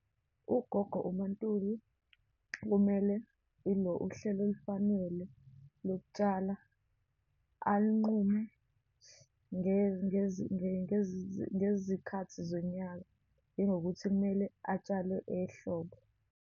UGogo, uMaNtuli kumele, ilo, uhlelo olufanele lokutshala alinqume ngezikhathi zonyaka, njengokuthi kumele atshale ehlobo.